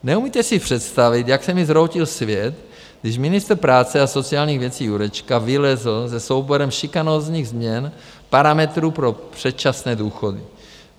Neumíte si představit, jak se mi zhroutil svět, když ministr práce a sociálních věcí Jurečka vylezl se souborem šikanózních změn parametrů pro předčasné důchody.